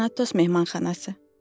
Tanatos mehmanxanası.